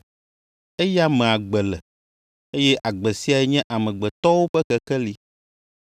Eya me agbe le, eye agbe siae nye amegbetɔwo ƒe kekeli.